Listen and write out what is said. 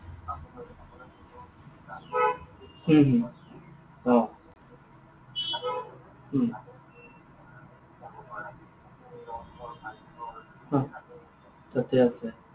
উম হম অ। উম অ, তাতে আছে।